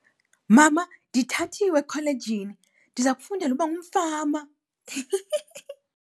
Mama, ndithathiwe ekholejini, ndiza kufundela ukuba ngumfama.